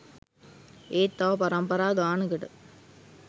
ඒත් තව පරම්පරා ගානකට